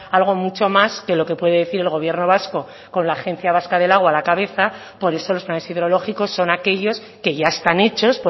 algo mucho más que lo que puede decir el gobierno vasco con la agencia vasca del agua a la cabeza por eso los planes hidrológicos son aquellos que ya están hechos